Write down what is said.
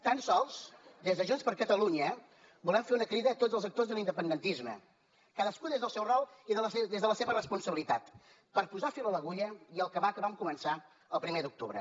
tan sols des de junts per catalunya volem fer una crida a tots els actors de l’independentisme cadascú des del seu rol i des de la seva responsabilitat per posar fil a l’agulla i acabar el que vam començar el primer d’octubre